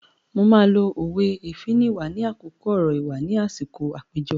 Mo máa lo òwe "Èéfín nìwà" ní àkókò ọ̀rọ̀ ìwà ni àsìkò àpéjọ.